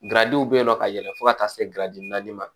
Garajiw be yen nɔ ka yɛlɛn fo ka taa se naani ma